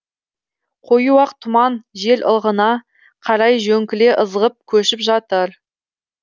қою ақ тұман жел ығына қарай жөңкіле ызғып көшіп жатыр